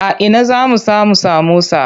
A ina zamu samu samosa?